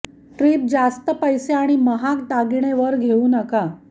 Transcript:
trip जास्त पैसे आणि महाग दागिने वर घेऊ नका